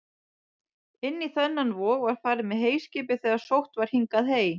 Inn í þennan vog var farið með heyskipið þegar sótt var hingað hey.